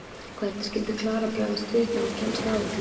Hvernig skyldi Klara bregðast við þegar hún kemst að öllu saman?